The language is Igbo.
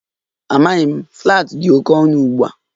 Amaghị m, flats dị oke ọnụ ugbu a